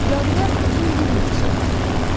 Cadugar uzun bir nitq söylədi.